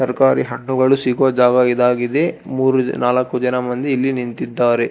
ತರ್ಕಾರಿ ಹಣ್ಣುಗಳು ಸಿಗೋ ಜಾಗ ಇದಾಗಿದೆ ಮೂರು ನಾಲಕ್ಕು ಜನ ಮಂದಿ ಇಲ್ಲಿ ನಿಂತಿದ್ದಾರೆ.